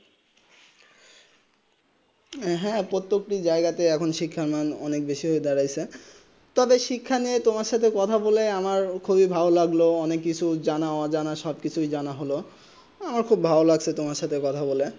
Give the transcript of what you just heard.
হেঁ প্রত্যেক তে জায়গা তে এখন শিক্ষা মান অনেক বেশি হয়ে দাঁড়িয়েছে তবে শিক্ষা নিয়ে তোমার সাথে কথা বলে আমার খুবই ভালো লাগলো অনেক কিচ জানা অঞ্জনা সব কিছু জানা হলো আমার খুব লাগছে তোমার সাথে কথা বলে